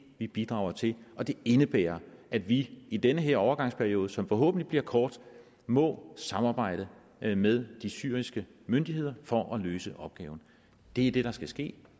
vi bidrager til og det indebærer at vi i den her overgangsperiode som forhåbentlig bliver kort må samarbejde med med de syriske myndigheder for at løse opgaven det er det der skal ske